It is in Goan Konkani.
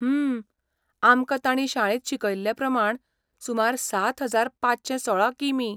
हूं, आमकां ताणीं शाळेंत शिकयल्लेप्रमाणें, सुमार सात हजार पांचशे सोळा कि.मी.?